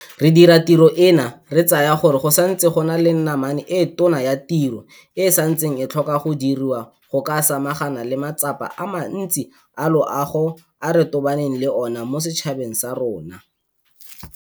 Re dira tiro eno re tsaya gore go santse go na le namane e tona ya tiro e e santseng e tlhoka go diriwa go ka samagana le matsapa a mantsi a loago a re tobaneng le ona mo setšhabeng sa rona.